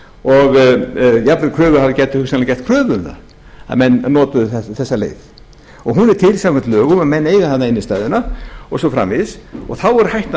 og jafnvel kröfuhafar gætu hugsanlega gert kröfu um það að menn notuðu þessa leið hún er til samkvæmt lögum og menn eiga innstæðuna og svo framvegis og þá er hættan